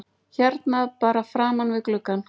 Hérna bara framan við gluggann?